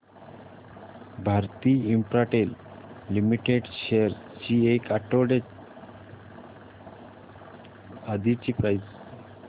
Bharti Infratel limited shares ची एक आठवड्या आधीची प्राइस